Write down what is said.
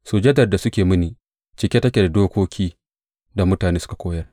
Sujadar da suke mini cike take da dokokin da mutane suka koyar.